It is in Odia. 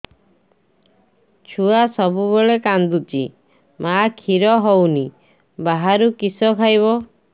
ଛୁଆ ସବୁବେଳେ କାନ୍ଦୁଚି ମା ଖିର ହଉନି ବାହାରୁ କିଷ ଖାଇବ